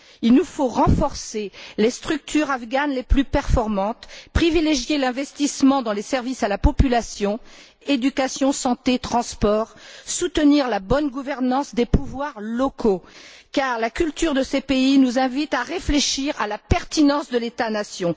Il nous faut renforcer les structures afghanes les plus performantes, privilégier l'investissement dans les services à la population éducation, santé, transports soutenir la bonne gouvernance des pouvoirs locaux, car la culture de ces pays nous invite à réfléchir à la pertinence de l'État nation.